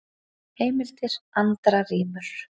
Heimildir: Andra rímur.